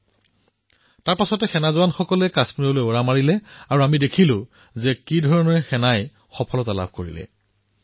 ইয়াৰ পিছত কাশ্মীৰলৈ সৈন্য প্ৰেৰণ কৰা হল আৰু আমি ভাৰতীয় সেনাৰ সফলতা দেখিবলৈ পালো